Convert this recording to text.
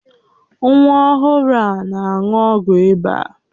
Nwa ọhụrụ a na-aṅụ ọgwụ ịba